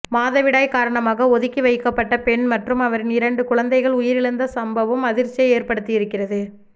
மாதவிடாய் காரணமாக ஒதுக்கி வைக்கப்பட்ட பெண் மற்றும் அவரின் இரண்டு குழந்தைகள் உயிரிழந்த சம்பவம் அதிர்ச்சியை ஏற்படுத்தியிருக்கிறது